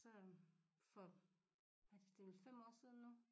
Så øh for hvad det det nu 5 år siden nu